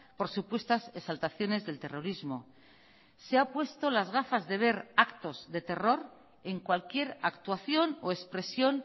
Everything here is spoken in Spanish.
por supuestas exaltaciones del terrorismo se ha puesto las gafas de ver actos de terror en cualquier actuación o expresión